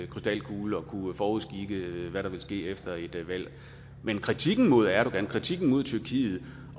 krystalkugle at kunne forudskikke hvad der vil ske efter et valg men kritikken mod erdogan kritikken mod tyrkiet